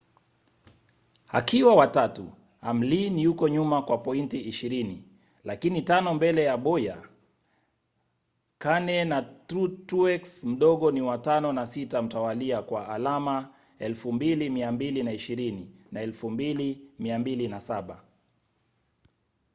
akiwa wa tatu hamlin yuko nyuma kwa pointi ishirini lakini tano mbele ya bowyer. kahne na truex mdogo ni wa tano na sita mtawalia kwa alama 2,220 na 2,207